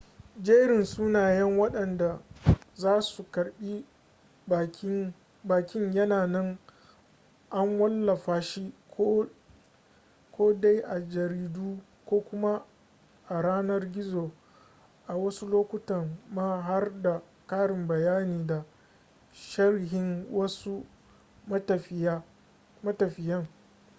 jerin sunayen wadanda za su karbi bakin yana nan an wallafa shi ko dai a jaridu ko kuma a yanar gizo a wasu lokutan ma har da karin bayani da sharhin wasu matafiyan